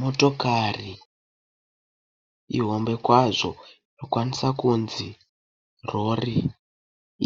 Motokari ihombe kwazvo inokwanisa kunzi rori,